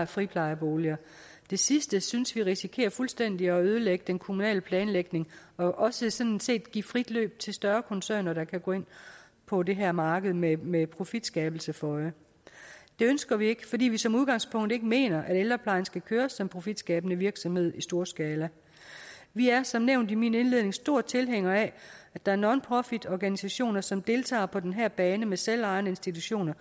friplejeboliger det sidste synes vi risikerer fuldstændig at ødelægge den kommunale planlægning og også sådan set give frit løb til større koncerner der kan gå ind på det her marked med med profitskabelse for øje det ønsker vi ikke fordi vi som udgangspunkt ikke mener at ældreplejen skal køres som profitskabende virksomhed i storskala vi er som nævnt i min indledning store tilhængere af at der er nonprofitorganisationer som deltager på den her bane med selvejende institutioner